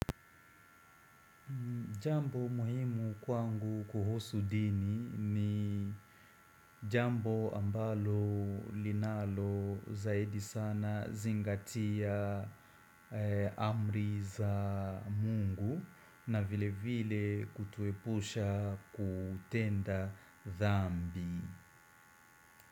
Jambo muhimu kwangu kuhusu dini ni jambo ambalo linalo zaidi sana zingatia amri za Mungu na vile vile kutuepusha kutenda dhambi.